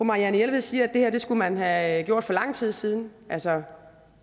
marianne jelved siger at det her skulle man have gjort for lang tid siden altså